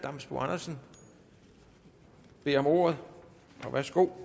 damsbo andersen beder om ordet